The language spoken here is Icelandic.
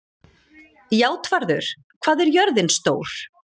Játvarður, hvað er jörðin stór?